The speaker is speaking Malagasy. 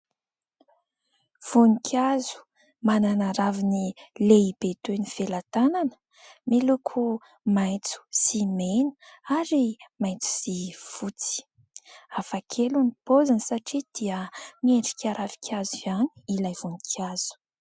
Voninkazo manana raviny lehibe toy ny felatanana miloko maitso sy mena ary maitso sy fotsy, hafa kely ny poziny satria dia miendrika ravin-kazo ihany ilay voninkazo.